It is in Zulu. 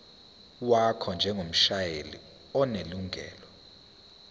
wakho njengomshayeli onelungelo